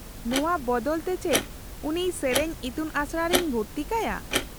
-ᱱᱚᱶᱟ ᱵᱚᱫᱚᱞ ᱛᱮ ᱪᱮᱫ ᱩᱱᱤ ᱥᱮᱹᱨᱮᱹᱧ ᱤᱛᱩᱱᱟᱥᱲᱟ ᱨᱮᱧ ᱵᱷᱩᱨᱛᱤ ᱠᱟᱭᱟ ?